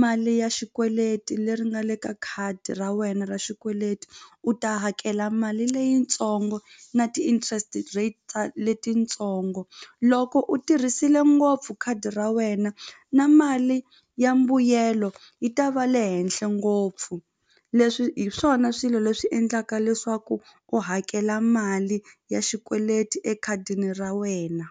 mali ya xikweleti leri nga le ka khadi ra wena ra xikweleti u ta hakela mali leyitsongo na ti-interest rate letitsongo loko u tirhisile ngopfu khadi ra wena na mali ya mbuyelo yi ta va le henhle ngopfu leswi hi swona swilo leswi endlaka leswaku u hakela mali ya xikweleti ekhadini ra wena.